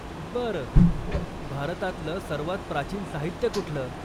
बरं, भारतातलं सर्वांत प्राचीन साहित्य कुठलं?